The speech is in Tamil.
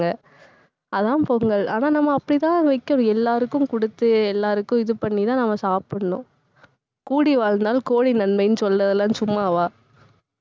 அதான் பொங்கல். ஆனா, நம்ம அப்படித்தான் வைக்கணும் எல்லாருக்கும் கொடுத்து எல்லாருக்கும் இது பண்ணிதான் நம்ம சாப்பிடணும். கூடி வாழ்ந்தால் கோடி நன்மைன்னு சொல்றதெல்லாம் சும்மாவா